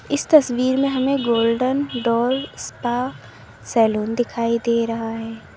इस तस्वीर में हमें गोल्डन डोर स्पा सैलून दिखाई दे रहा है।